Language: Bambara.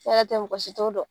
N'e yɛrɛ tɛ mɔgɔ si t'o dɔn.